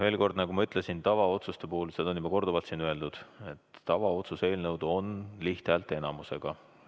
Veel kord, nagu ma ütlesin, ja seda on juba korduvalt öeldud, tavaotsuse eelnõud võetakse vastu lihthäälteenamusega.